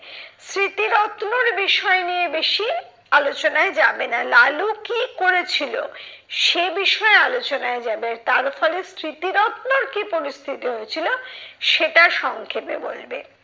স্মৃতিরত্নর বিষয় নিয়ে বেশি আলোচনায় যাবে না। লালু কি করেছিল, সে বিষয়ে আলোচনায় যাবে। তার ফলে স্মৃতিরত্নর কি পরিস্থিতি হয়েছিল, সেটা সংক্ষেপে বলবে।